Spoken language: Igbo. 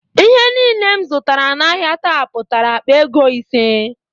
Ihe niile m zụtara n'ahia taa pụtara akpa ego ise